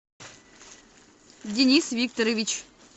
денис викторович